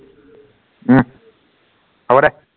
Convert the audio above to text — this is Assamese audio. উহ হব দে